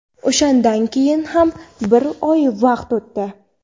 O‘shandan keyin ham bir oy vaqt o‘tdi.